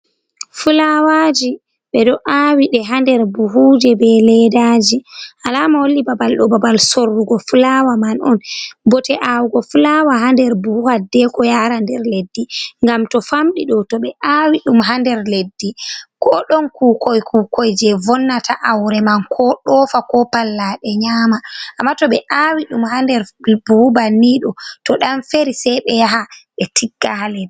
fulawaaji ɓe do aawa ɗe haa nder buhuuji bee ledaaji alama holli babal ɗo babal sorrugo fulaawa man on, bote aawugo fulaawa ha nder buhu hiddeeko yaara nder leddi ngam to famɗi ɗo to ɓe aawi ɗum haa nder leddi koo ɗon kuukoy kuukoy jey vonnata aaure man, koo ɗoofa, koo pallaaɗe nyaama, amma to ɓe aawi ɗum haa nder buhu banniiɗo to ɗan feerii sey ɓe yaha ɓe tiggaɗe.